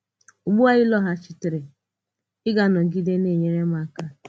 Ugbu à ị lọghachìtere, ị gà-anọgide na-enyere m aka?